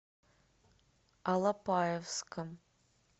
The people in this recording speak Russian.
алапаевском